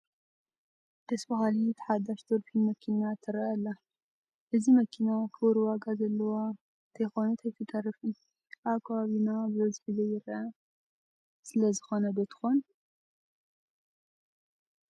ደስ በሃሊት ሓዳሽ ዶልፊን መኪና ትርአ ኣላ፡፡ እዚ መኪና ክቡር ዋጋ ዘለዋ እንተይኮነት ኣይትተርፍን፡፡ ኣብ ከባቢና ብበዝሒ ዘይትርአ ስለዚ ዶ ትኸውን?